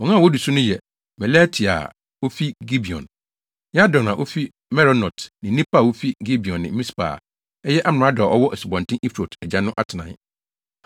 Wɔn a wodi wɔn so yɛ Melatia a ofi Gibeon, Yadon a ofi Meronot ne nnipa a wofi Gibeon ne Mispa a ɛyɛ amrado a ɔwɔ Asubɔnten Eufrate agya no atenae.